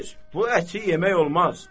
Xeyr, bu əti yemək olmaz.